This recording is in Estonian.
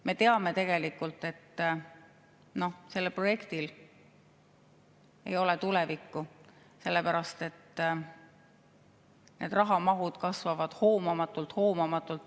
Me teame tegelikult, et sellel projektil ei ole tulevikku, sellepärast et need rahamahud kasvavad hoomamatult.